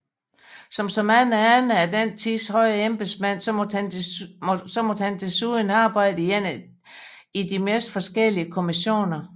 Som så mange andre af den tids høje embedsmænd måtte han desuden arbejde i de mest forskellige kommissioner